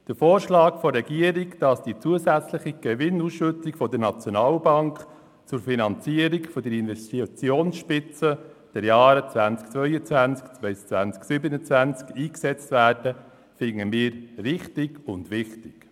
Der Vorschlag der Regierung, die zusätzliche Gewinnausschüttung der SNB zur Finanzierung der Investitionsspitzen der Jahre 2022–2027 einzusetzen, finden wir richtig und wichtig.